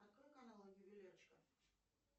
открой канал ювелирочка